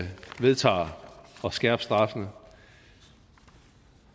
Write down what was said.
vedtager at skærpe straffene